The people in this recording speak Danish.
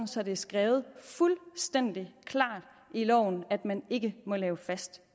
så det er skrevet fuldstændig klart i loven at man ikke må lave fast